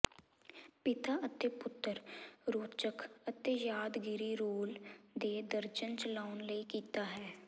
ਪਿਤਾ ਅਤੇ ਪੁੱਤਰ ਰੌਚਕ ਅਤੇ ਯਾਦਗਾਰੀ ਰੋਲ ਦੇ ਦਰਜਨ ਚਲਾਉਣ ਲਈ ਕੀਤਾ ਹੈ